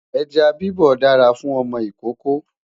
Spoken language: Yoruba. ejá bibọ dára fún ọmọ ìkókó